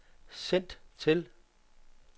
send til